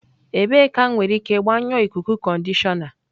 Ebee ka m nwere ike gbanyụọ ikuku conditioner?